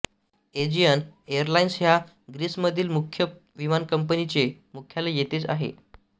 Aegean airlines ह्या ग्रीसमधील प्रमुख विमानकंपनीचे मुख्यालय येथेच आहे